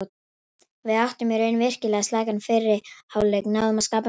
Við áttum í raun virkilega slakan fyrri hálfleik, náðum að skapa mjög lítið.